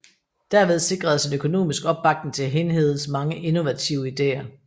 Derved sikredes en økonomisk opbakning til Hindhedes mange innovative ideer